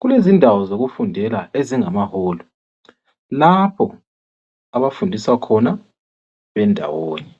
Kulezindawo zokufundela ezingamaholo, lapho abafundiswa khona bendawonye.